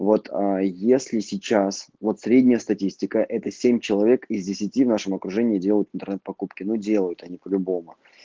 вот а если сейчас вот средняя статистика это семь человек из десяти в нашем окружении делают интернет-покупки ну делают они по-любому